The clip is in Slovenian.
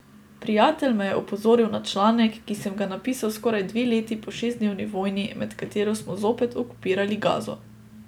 Prijatelj me je opozoril na članek, ki sem ga napisal skoraj dve leti po šestdnevni vojni med katero smo zopet okupirali Gazo.